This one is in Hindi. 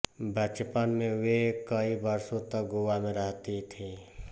बचपन में वे कई वर्षों तक गोवा में रहती थीं